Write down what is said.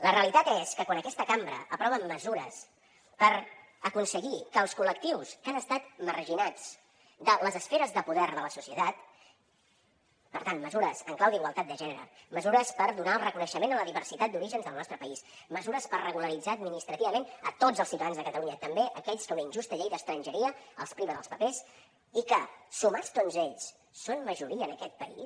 la realitat és que quan aquesta cambra aprova mesures per aconseguir que els col·lectius que han estat marginats de les esferes de poder de la societat per tant mesures en clau d’igualtat de gènere mesures per donar el reconeixement a la diversitat d’orígens del nostre país mesures per regularitzar administrativament tots els ciutadans de catalunya també aquells que una injusta llei d’estrangeria els priva dels papers i que sumats tots ells són majoria en aquest país